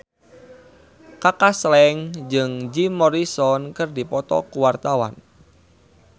Kaka Slank jeung Jim Morrison keur dipoto ku wartawan